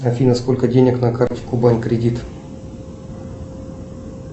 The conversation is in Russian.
афина сколько денег на карте кубань кредит